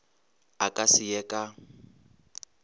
a ka se ye ka